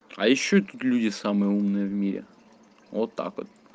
а ещё тут люди самый умный в мире вот так вот